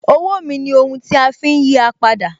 Owó mi ni ohun tí a fi ń yí à padà wà.